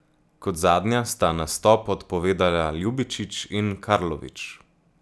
Kot zadnja sta nastop odpovedala Ljubičić in Karlović.